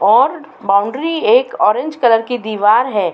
और बॉउंड्री एक orange colour की दीवार है।